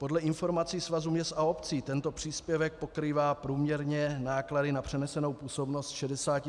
Podle informací Svazu měst a obcí tento příspěvek pokrývá průměrně náklady na přenesenou působnost 65 % a to je málo.